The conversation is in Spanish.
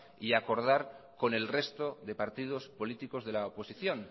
y acordar con el resto de partidos políticos de la oposición